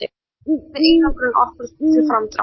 Tæplega yrði einangrun okkur til framdráttar